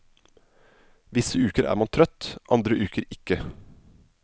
Visse uker er man trøtt, andre uker ikke.